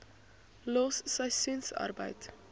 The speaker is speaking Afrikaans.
los seisoensarbeid